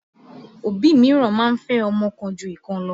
Òbí míràn máa ń fẹ́ ọmọ kan ju ìkan lọ.